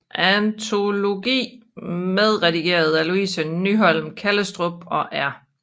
Antologi medredigeret af Louise Nyholm Kallestrup og R